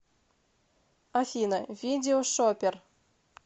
афина видео шопер